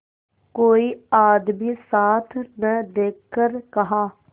कोई आदमी साथ न देखकर कहा